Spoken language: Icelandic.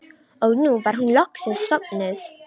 Og nú var hún loksins sofnuð.